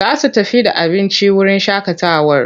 Za su tafi da abinci wurin shaƙatawar.